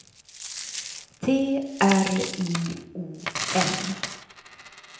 T R I O N